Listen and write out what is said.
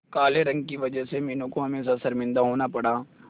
काले रंग की वजह से मीनू को हमेशा शर्मिंदा होना पड़ा